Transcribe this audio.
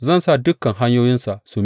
Zan sa dukan hanyoyinsa su miƙe.